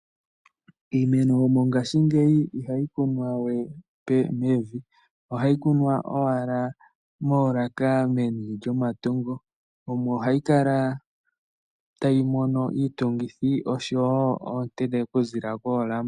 Iimeno mongashingeyi ihayi kunwa we mevi. Ohayi kunwa owala moolaka meni lyomatungo, omo hayi kala tayi mono iitungithi osho wo oonte oku zilila koolamba.